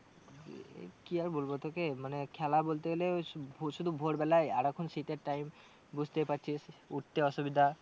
কি আর বলবো তোকে মানে খেলা বলতে গেলে ঐ শু শুধু ভোর বেলাই আর এখন শীতের time বুঝতেই পারছিস উঠতে অসুবিধা।